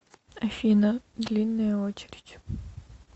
афина длинная очередь